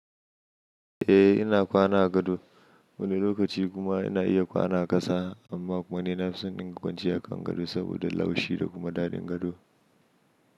Eh ina kwana a gado wani lokaci kuma ina iya kwana a ƙasa amma kuma ni na fison in dinga kwanciya akan gado saboda laushi da kuma daɗin gado.